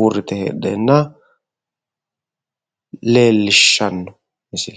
uurrite heedheenna leellishshanno misile